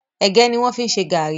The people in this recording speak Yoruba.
Ègé ni wọn fi ń ṣe gàárì